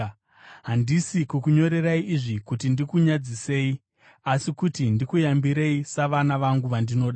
Handisi kukunyorerai izvi kuti ndikunyadzisei, asi kuti ndikuyambirei, savana vangu vandinoda.